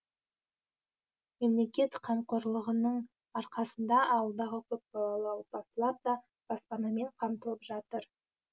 мемлекет қамқорлығының арқасында ауылдағы көп балалы отбасылар да баспанамен қамтылып жатыр